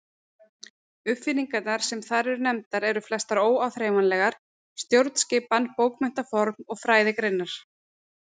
Uppfinningarnar sem þar eru nefndar eru flestar óáþreifanlegar: stjórnskipan, bókmenntaform og fræðigreinar.